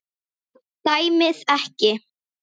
Dæmið ekki.